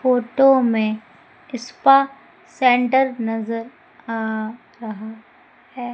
Photo में spa centre नजर आ रहा है।